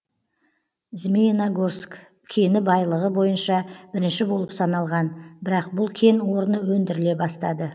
змеиногорск кені байлығы бойынша бірінші болып саналған бірақ бұл кен орны өндіріле бастады